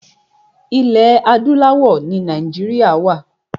Ilẹ̀ adúláwọ̀ ni Nàìjíríà wa.